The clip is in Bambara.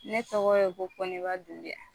Ne tɔgɔ ye ko koniba dumbiya